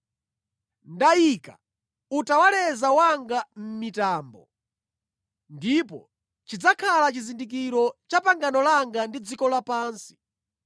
Ndayika utawaleza wanga mʼmitambo, ndipo chidzakhala chizindikiro cha pangano langa ndi dziko lapansi.